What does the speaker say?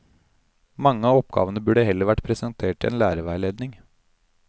Mange av oppgavene burde heller vært presentert i en lærerveiledning.